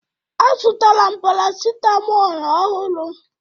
A zụtara paracitamol ọhụrụ